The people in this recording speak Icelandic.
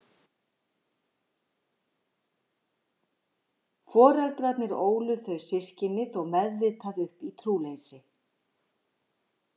Foreldrarnir ólu þau systkini þó meðvitað upp í trúleysi.